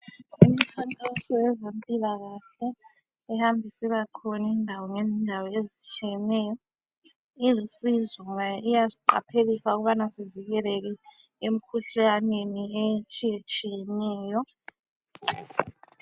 Imifanekiso yezemphilakahle, ehamba isibakhona indawo ngezindawo ezutshiyeneyo, ilusizo ngoba iyasiqaphelisa ukubana sivikeleke imikhuhlane etshiyetshiyeneyo